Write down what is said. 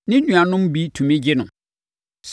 ne nuanom bi tumi bɛgye no.